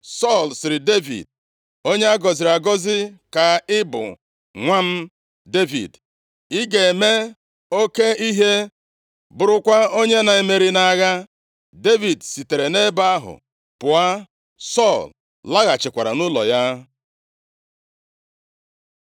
Sọl sịrị Devid, “Onye a gọziri agọzi ka ị bụ nwa m, Devid. Ị ga-eme oke ihe, bụrụkwa onye na-emeri nʼagha.” Devid sitere nʼebe ahụ pụọ. Sọl laghachikwara nʼụlọ ya.